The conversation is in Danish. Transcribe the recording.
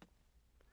TV 2